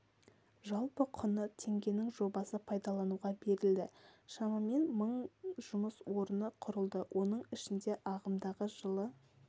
жалпы құны теңгенің жобасы пайдалануға берілді шамамен мың жұмыс орны құрылды оның ішінде ағымдағы жылы